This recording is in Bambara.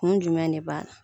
Kun jumɛn ne b'a na